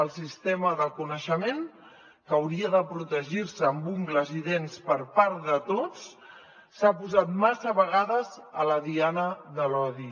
el sistema de coneixement que hauria de protegir se amb ungles i dents per part de tots s’ha posat massa vegades a la diana de l’odi